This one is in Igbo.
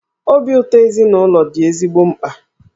Obi ụtọ ezinụlọ dị ezigbo mkpa.